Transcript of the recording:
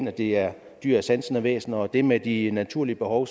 at det er dyr og sansende væsener og også det med de naturlige behov